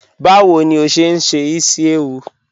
Bawo ni o ṣe n ṣe isi-ewu?